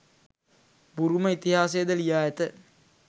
බුරුම ඉතිහාසයද ලියා ඇත.